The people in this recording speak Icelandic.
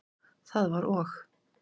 Það var og?